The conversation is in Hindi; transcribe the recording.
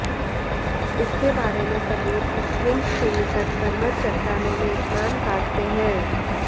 इसके बारे में सबूत स्प्रिंग्स के निकट पर्वत चट्टानों में स्नान काटते हैं